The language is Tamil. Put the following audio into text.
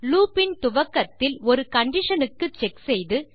லூப் இன் துவக்கத்தில் ஒரு கண்டிஷன் க்கு செக் செய்து